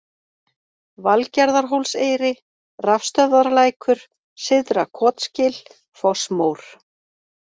Valgerðarhólseyri, Rafstöðvarlækur, Syðra-Kotsgil, Fossmór